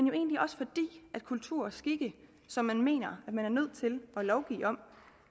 jo egentlig også fordi kultur og skikke som man mener at man er nødt til at lovgive om